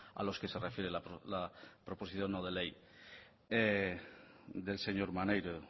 a los que se refiere la proposición no de ley del señor maneiro